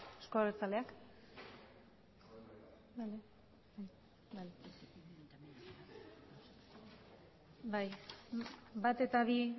euzko abertzaleak bai bat eta bi